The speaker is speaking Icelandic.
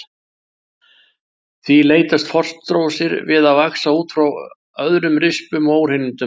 Því leitast frostrósir við að vaxa út frá örðum, rispum og óhreinindum.